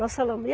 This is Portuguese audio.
Nós falamos e